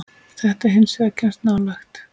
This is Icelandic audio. Þetta hins vegar kemst nálægt.